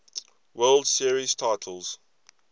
world series titles